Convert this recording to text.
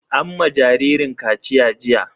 An ma jaririn kaciya jiya.